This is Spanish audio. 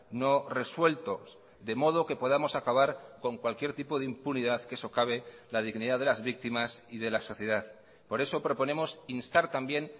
no resueltos de modo que podamos acabar con cualquier tipo de impunidad que socave la dignidad de las víctimas y de la sociedad por eso proponemos instar también